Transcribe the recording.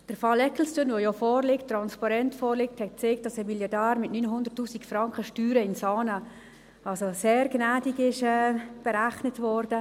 Der Fall Ecclestone, der ja vorliegt – transparent vorliegt –, hat gezeigt, dass ein Milliardär mit 900’000 Franken Steuern in Saanen also sehr gnädig berechnet wurde.